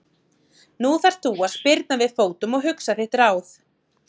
Nú þarft þú að spyrna við fótum og hugsa þitt ráð.